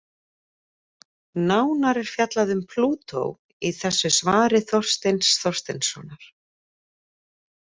Nánar er fjallað um Plútó í þessu svari Þorsteins Þorsteinssonar.